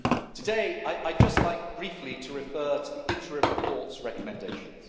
Today I would just like briefly to refer to the interim report's recommendations.